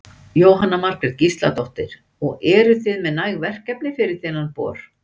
Jóhanna Margrét Gísladóttir: Og eruð þið með næg verkefni fyrir þennan bor?